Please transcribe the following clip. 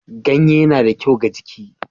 Ganye na da kyau ga jiki.